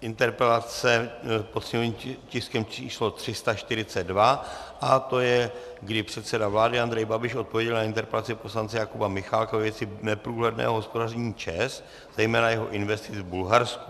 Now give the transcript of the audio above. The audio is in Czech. interpelace pod sněmovním tiskem číslo 342 a to je, kdy předseda vlády Andrej Babiš odpověděl na interpelaci poslance Jakuba Michálka ve věci neprůhledného hospodaření ČEZ, zejména jeho investic v Bulharsku.